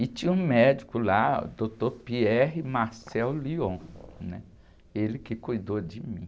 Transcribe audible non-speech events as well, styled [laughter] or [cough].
E tinha um médico lá, o doutor, [unintelligible] né? Ele que cuidou de mim.